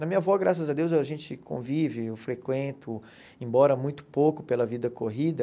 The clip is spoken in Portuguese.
Na minha avó, graças a Deus, a gente convive, eu frequento, embora muito pouco pela vida corrida,